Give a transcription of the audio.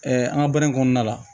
an ka baara in kɔnɔna la